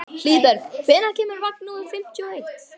Hlíðberg, hvenær kemur vagn númer fimmtíu og eitt?